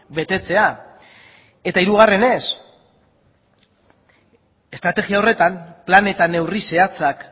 betetzea eta hirugarrenez estrategia horretan plan eta neurri zehatzak